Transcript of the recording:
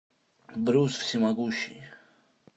брюс всемогущий